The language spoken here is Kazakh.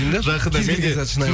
жақында мен де шынайылық